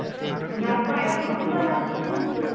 ಹಾ. ಹೋಗುವಾಗ ತುಂಬ rush ಇತ್ತು.